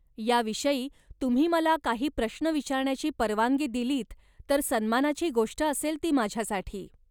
या विषयी तुम्ही मला काही प्रश्न विचारण्याची परवानगी दिलीत, तर सन्मानाची गोष्ट असेल ती माझ्यासाठी.